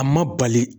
A ma bali